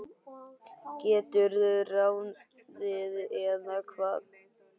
geturðu ráðið, eða hvað?